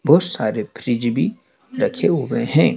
बहोत सारे फ्रिज भी रखे हुए हैं।